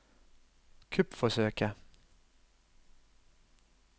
kuppforsøket